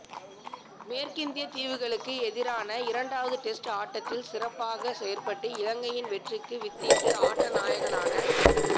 மேற்கிந்தியத் தீவுகளுக்கு எதிரான இரண்டாவது டெஸ்ட் ஆட்டத்தில் சிறப்பாகச் செயற்பட்டு இலங்கையின் வெற்றிக்கு வித்திட்டு ஆட்டநாயகனான